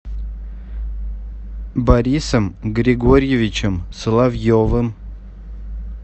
борисом григорьевичем соловьевым